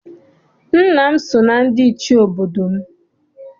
Nna m si na ndị Ichie n'obodo m.